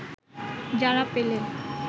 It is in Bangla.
যারা পেলে